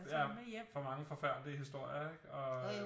Ja for mange forfærdelige historier ikke og øh